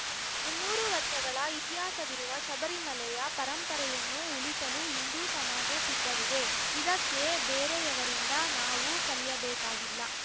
ಮುನ್ನೂರು ವರ್ಷಗಳ ಇತಿಹಾಸವಿರುವ ಶಬರಿಮಲೆಯ ಪರಂಪರೆಯನ್ನು ಉಳಿಸಲು ಹಿಂದೂ ಸಮಾಜ ಸಿದ್ಧವಿದೆ ಇದಕ್ಕೆ ಬೇರೆಯವರಿಂದ ನಾವು ಕಲಿಯಬೇಕಾಗಿಲ್ಲ